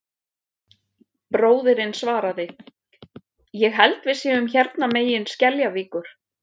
Bróðirinn svaraði: Ég held við séum hérna megin Skeljavíkur